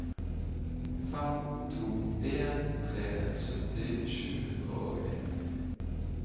fem to en tre sytti sju hundre og nitten